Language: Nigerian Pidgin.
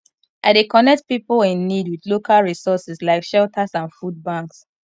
i dey connect pipo in need with local resources like shelters and food banks